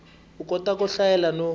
u kota ku hlayela no